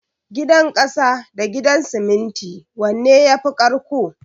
Gidan ƙasa da Gidan siminti wanne yafi ƙarƙko?